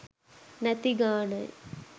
නැති ගානයි